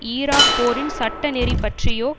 Iraq போரின் சட்ட நெறி பற்றியோ